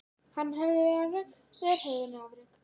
Hann hafði unnið afrek þeir höfðu unnið afrek.